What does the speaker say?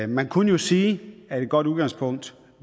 man kunne jo sige at et godt udgangspunkt